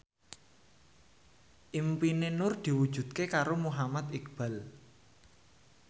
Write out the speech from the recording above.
impine Nur diwujudke karo Muhammad Iqbal